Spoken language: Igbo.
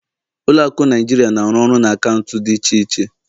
Ụlọ akụ Naijiria na-arụ ọrụ na akaụntụ dị iche iche